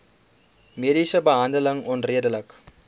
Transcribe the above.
mediese behandeling onredelik